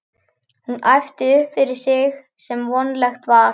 Hún æpti upp yfir sig sem vonlegt var.